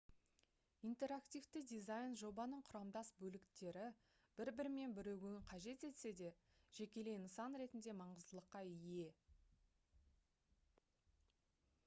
интерактивті дизайн жобаның құрамдас бөліктері бір-бірімен бірігуін қажет етсе де жекелей нысан ретінде маңыздылыққа ие